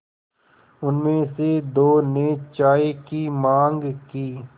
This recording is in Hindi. उनमें से दो ने चाय की माँग की